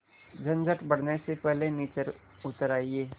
झंझट बढ़ने से पहले नीचे उतर आइए